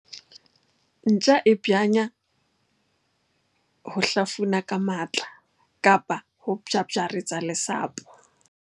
Ntja e banya ho hlafuna ka matla kapa ho bjabjaretsa lesapo.